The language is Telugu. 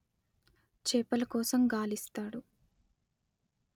చేపల కోసం గాలిస్తాడు